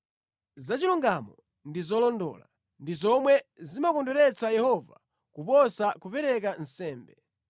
Za chilungamo ndi zolondola ndi zomwe zimakondweretsa Yehova kuposa kupereka nsembe.